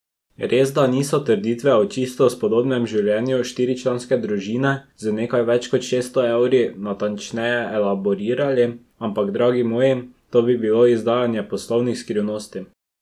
Resda niso trditve o čisto spodobnem življenju štiričlanske družine z nekaj več kot šeststo evri natančneje elaborirali, ampak, dragi moji, to bi bilo izdajanje poslovnih skrivnosti.